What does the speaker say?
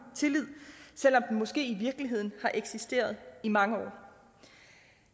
tillid selv om den måske i virkeligheden har eksisteret i mange år